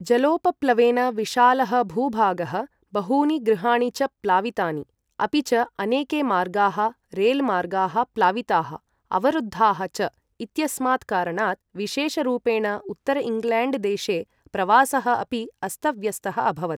जलोपप्लवेन विशालः भूभागः, बहूनि गृहाणि च प्लावितानि, अपि च अनेके मार्गाः, रेलमार्गाः प्लाविताः अवरुद्धाः च इत्यस्मात् कारणात् विशेषरूपेण उत्तर इङ्ग्लैण्ड्देशे प्रवासः अपि अस्तव्यस्तः अभवत्।